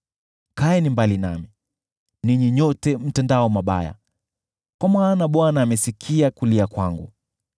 Kaeni mbali nami, ninyi nyote mtendao mabaya, kwa maana Bwana amesikia kulia kwangu.